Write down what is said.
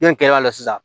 N'o kɛl'a la sisan